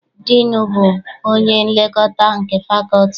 Diinu bụ onye nlekọta nke fakọlti.